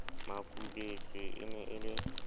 makubetse e ne e le